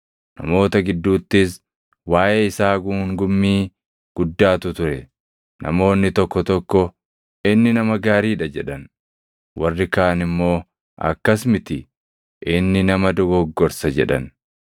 Namoota gidduuttis waaʼee isaa guungummii guddaatu ture. Namoonni tokko tokko, “Inni nama gaarii dha” jedhan. Warri kaan immoo, “Akkas miti; inni nama dogoggorsa” jedhan.